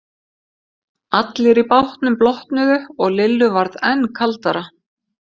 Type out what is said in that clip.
Allir í bátnum blotnuðu og Lillu varð enn kaldara.